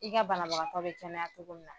I ka banabagatɔ bɛ kɛnɛya cogo min na.